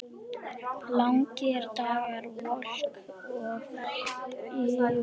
Langir dagar, volk og vosbúð.